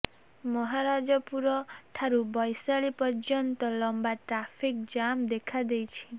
ମହାରାଜାପୁର ଠାରୁ ବୈଶାଳି ପର୍ଯ୍ୟନ୍ତ ଲମ୍ବା ଟ୍ରାଫିକ ଜାମ ଦେଖାଦେଇଛି